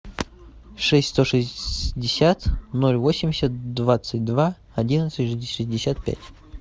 шесть сто шестьдесят ноль восемьдесят двадцать два одиннадцать шестьдесят пять